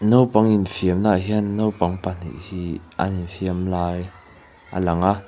naupang infiamna ah hian naupang pahnih hiii an infiam lai a lang a.